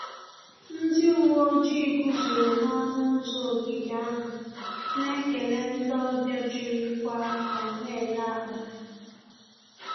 Ndị uwe ojii guzoro n'ọṅụ ụzọ ogige ahụ, na-ekele ndị ọbịa jirikwa akọ na-ele akpa ha